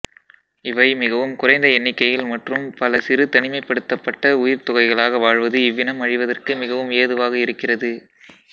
இவை மிகவும் குறைந்த எண்ணிக்கையில் மற்றும் பல சிறு தனிமைப்படுத்தப்பட்டக் உயிர்த்தொகைகளாக வாழ்வது இவ்வினம் அழிவதற்கு மிகவும் ஏதுவாக இருக்கிறது